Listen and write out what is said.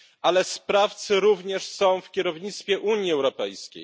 Ale sprawcy również są w kierownictwie Unii Europejskiej.